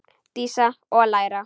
Dísa: Og læra.